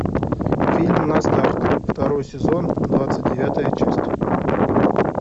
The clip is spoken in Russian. фильм на старт второй сезон двадцать девятая часть